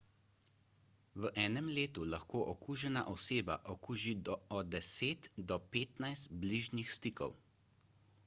v enem letu lahko okužena oseba okuži od 10 do 15 bližnjih stikov